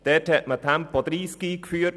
Dort hat man Tempo 30 eingeführt.